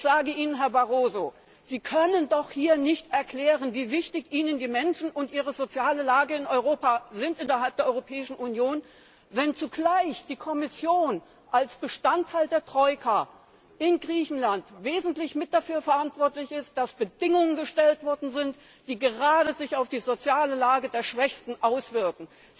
Ich sage Ihnen, Herr Barroso Sie können doch hier nicht erklären, wie wichtig Ihnen die Menschen und ihre soziale Lage in der Europäischen Union sind, wenn zugleich die Kommission als Bestandteil der Troika in Griechenland wesentlich mit dafür verantwortlich ist, dass Bedingungen gestellt wurden, die sich gerade auf die soziale Lage der Schwächsten auswirken!